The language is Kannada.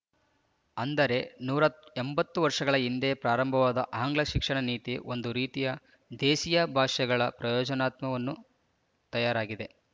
ಅಂದರೆ ನೂರಾ ಎಂಬತ್ತು ವರ್ಷಗಳ ಹಿಂದೆ ಪ್ರಾರಂಭವಾದ ಆಂಗ್ಲ ಶಿಕ್ಷಣ ನೀತಿ ಒಂದು ರೀತಿ ದೇಸಿಯ ಭಾಷೆಗಳ ಪ್ರಯೋಜನತ್ವವನ್ನು ತಯಾರಾಗಿದೆ